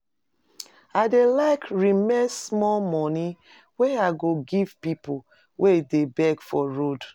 I dey like remain small moni wey I go give pipu wey dey beg for road.